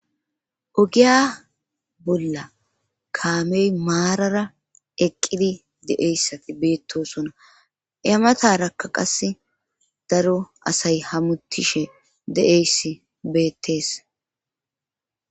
Ogiya bolla kaamey maarara eqqidi de'eyssati beettosona ematarakka qase daro asay hamutishe de'eyssi beettees.